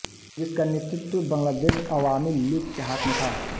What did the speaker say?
जिसका नेतृत्व बांग्लादेश अवामी लीग के हाथ में था